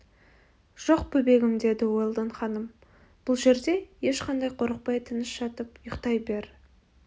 жоқ бөбегім деді уэлдон ханым бұл жерде ешқандай қорықпай тыныш жатып ұйықтай бер